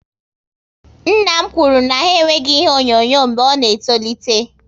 Nna m kwụrụ na ha enweghị ihe onyonyo mgbe ọ na etolite